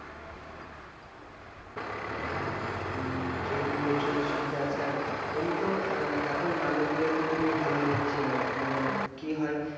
হ্যাঁ যেহেতু বলছো যে সুবিধা আছে আর এমনিতেও আহ এখন মানুষ গুলোকে তুমি ভালোভাবে চেনো মানে কি হয়,